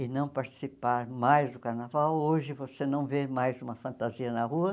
e não participar mais do carnaval, hoje você não vê mais uma fantasia na rua.